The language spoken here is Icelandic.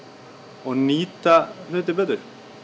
og nýta hluti betur